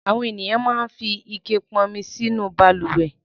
Àwọn ènìyàn máa ń fi ike pọn omi nínú balùwẹ̀.